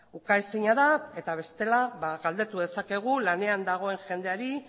ukaezina da eta bestela galdetu dezakegu lanean dagoen jendeari